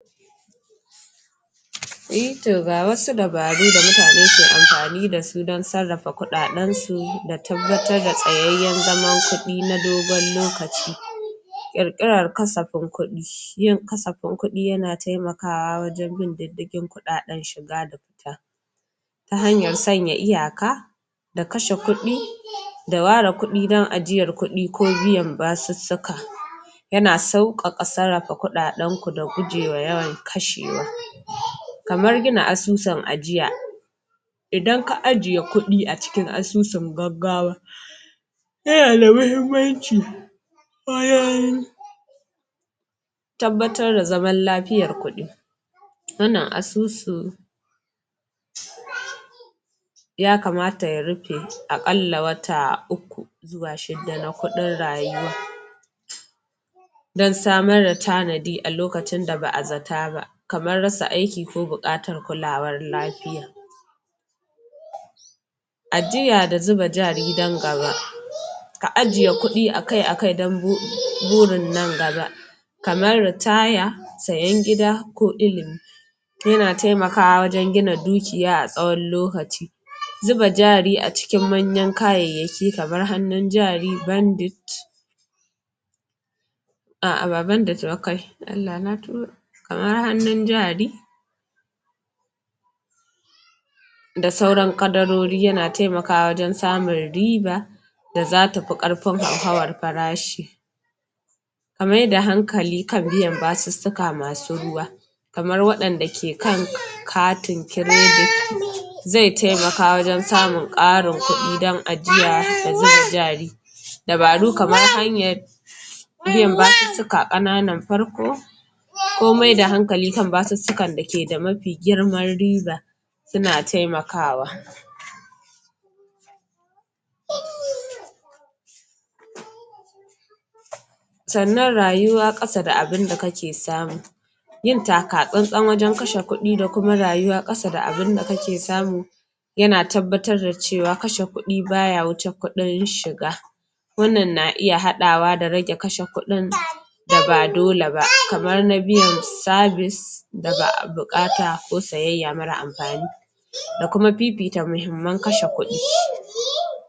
Eh to ga wasu dabaru da mutane ke amfani da su dan sarrafa kuɗaɗen su da tabbatar da tsayayyen zaman kuɗi na dogon lokaci ƙirƙirar kasafin ƙudi yin kasafin kuɗi yana taimakawa wajen bin diddigin kuɗaɗen shiga ta hanyar sanya iyaka da kace kuɗi da ware kuɗi don ajiyan kuɗi ko biyan basussuka yana sauƙaƙa sarrafa kudaden ku da guje wa yawan kashewa. Kaman gina asusun ajiya idan ajiye kuɗi a cikin asusun gaggawa yanada muhimmanci wajen tabbatar da zaman lafiyan kudi wannnan asusun ya kamata ya rufe a ƙalla wata uku zuwa shida na kuɗin rayuwa don samar da tanadi a lokacin da ba a zata ba kaman rasa aiki ko buƙatan kulawar lafiya ajiya da zuba jari don gaba ka ajiye kuɗi akai-akai don burin nan gaba kaman ritaya, sayen gida ko ilimi yana taimakawa wajen gina dukiya a tsawon lokaci zuba jari a cikin manyan kayayyaki kaman hannun jari, bandit a'a ba bandit ba kai Allah na tuba kaman hannun jari da sauran kadarori yana taimakawa wajen samun riba da zata fi ƙarfin hauhawan farashi ka maida hankali kan basussuka masu ruwa kamar waɗanda ke kan katin kiredit zai taimaka wajen samun ƙarin kuɗi don ajiya da zuba jari dabaru kamar hanyan biyan basussuka ƙananan farko ko maida hankali kan basussukan da ke da mafi girman riba suna taimakawa sannan rayuwa ƙada da abinda kake samu yin taka tsantsan wajen kashe kuɗi da kuma rayuwa ƙasa da abinda ka ke samu yana tabbatar da cewa kashe kuɗi baya wuce kuɗin shiga wannan na iya haɗawa da rage kashe kuɗin da ba dole ba kaman na biyan sabis da ba a buƙata ko siyayya mara amfani da kuma fifita muhimman kashe kuɗi.